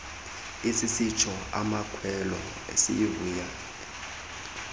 sisitsho amakhwelo sivuya